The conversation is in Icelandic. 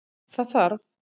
Það þarf